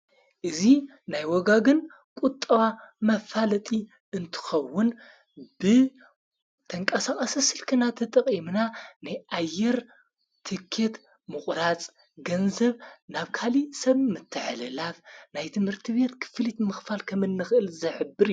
እዙ ናይ ወጋግን ቊጥዋ መፋለጢ እንትኸውን ብተንቃሳቕ ስልክና ተጥቕ የምና ናይኣይር ትከት ምቑራጽ ገንዘብ ናብ ካሊ ሰብ ምተሕለላፍ ናይ ትምርቲ ቤት ክፍሊት ምኽፋል ከምንኽእል ዘኅብር፡፡